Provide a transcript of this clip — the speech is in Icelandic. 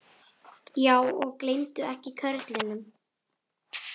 Já, og gleymdu ekki körlunum.